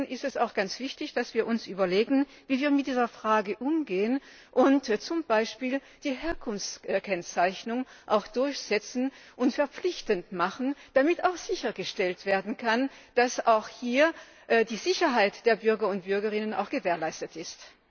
Deswegen ist es auch ganz wichtig, dass wir uns überlegen, wie wir mit dieser Frage umgehen, und zum Beispiel die Herkunftskennzeichnung durchsetzen und verpflichtend machen, damit sichergestellt werden kann, dass auch hier die Sicherheit der Bürgerinnen und Bürger gewährleistet ist.